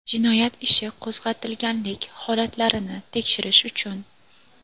jinoyat ishi qo‘zg‘atilganlik holatlarini tekshirish uchun;.